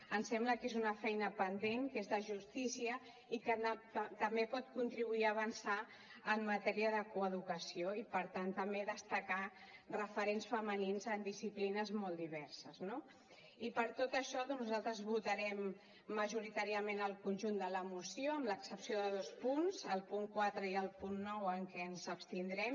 ens sembla que és una feina pendent que és de justícia i que també pot contribuir a avançar en matèria de coeducació i per tant també destacar referents femenins en disciplines molt diverses no i per tot això doncs nosaltres votarem majoritàriament el conjunt de la moció amb l’excepció de dos punts el punt quatre i el punt nou en què ens abstindrem